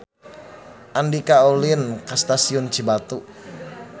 Andika ulin ka Stasiun Cibatu